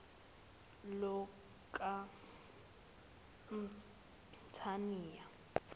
lukamthaniya